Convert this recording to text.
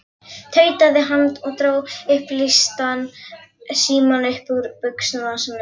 tautaði hann og dró upplýstan símann upp úr buxnavasanum.